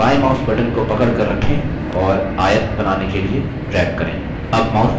बायें mouse button को पकड़कर रखें और आयत बनाने के लिए drag करें